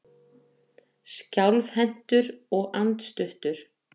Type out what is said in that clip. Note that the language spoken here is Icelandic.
Skjálfhentur og andstuttur.